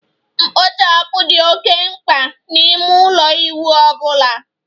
Kpochapu dị oké mkpa n'ime ụlọ ịwụ ọ bụla